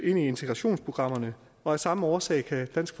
i integrationsprogrammerne og af samme årsag kan dansk